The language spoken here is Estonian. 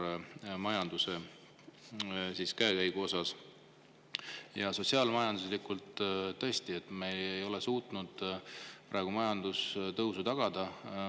Ja sotsiaal-majanduslikult, et me ei ole suutnud majandustõusu tagada.